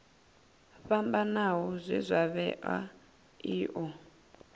fhambanaho zwe zwa vhewa io